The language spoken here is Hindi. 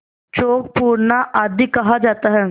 चौक पूरना आदि कहा जाता है